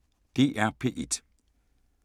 DR P1